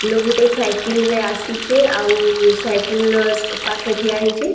ଲୋକ୍‌ ଗୁଟେ ସାଇକିଲ୍‌ ରେ ଆସିଛେ ଆଉ ସାଇକିଲ୍‌ ର ପାଖେ ଠିଆ ହେଇଛେ।